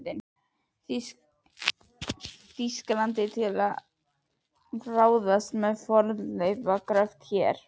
Þýskalandi til að ráðast í fornleifagröft hér.